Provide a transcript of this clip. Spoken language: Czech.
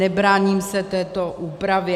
Nebráním se této úpravě.